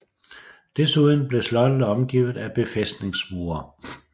Desuden blev slottet omgivet af befæstningsmure